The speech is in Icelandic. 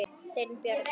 Þinn Bjarni.